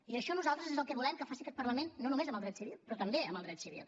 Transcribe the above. i això nosaltres és el que volem que faci aquest parlament no només amb el dret civil però també amb el dret civil